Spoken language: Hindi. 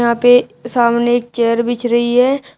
यहां पे सामने एक चेयर बिछ रही है।